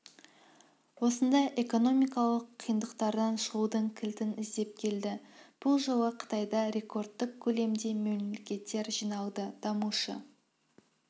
осында экономикалық қиындықтардан шығудың кілтін іздеп келді бұл жолы қытайда рекордтық көлемде мемлекеттер жиналды дамушы